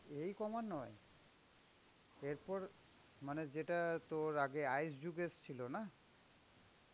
এই কমার নয়. এরপর মানে যেটা তোর আগে ice যুগ এসেছিল না,